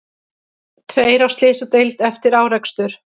Tveir á slysadeild eftir árekstur